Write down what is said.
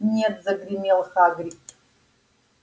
нет загремел хагрид